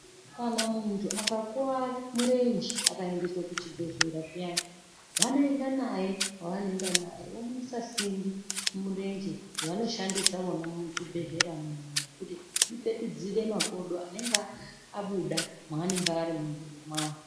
Kana muntu akakuwara murenje akayendeswa kuchibhedhlera zviyani, vanoenda naye kwavanoenda naye, vomuisa simbi mumurenje ,dzavanoshandisa vona muchibhedhleramo kuti ipetudzire makodo anenge abuda maanenge ari munzvimbo mwawo.